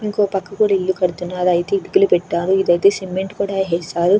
ఇంకో పక్క కూడ ఇల్లు కడుతున్నారు అయితే ఇటుకలు పెట్టారు ఇదైతే సిమెంట్ కూడా వేశారు.